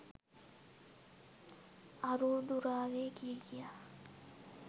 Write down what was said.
අරූ දුරාවේ කිය කියා